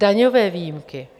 Daňové výjimky.